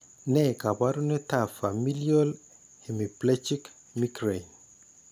Ne kaabarunetap Familial hemiplegic migraine?